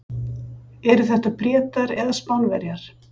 Eru þetta Bretar eða Spánverjar?